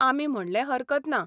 आमी म्हणलें हरकत ना.